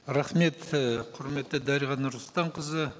рахмет і құрметті дариға нұрсұлтанқызы